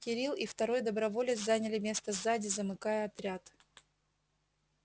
кирилл и второй доброволец заняли место сзади замыкая отряд